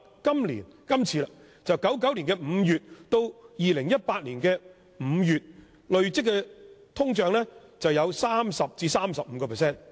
由1999年5月到2018年5月，累積的通脹有 30% 至 35%。